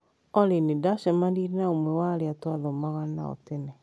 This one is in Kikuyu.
Olly, nĩ ndacemanirie na ũmwe wa arĩa twathomaga nao tene.